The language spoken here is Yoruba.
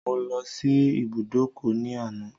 Mo lọ sí ibùdókọ̀ ní àná.